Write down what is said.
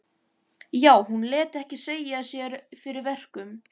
Já, hún lét ekki segja sér fyrir verkum.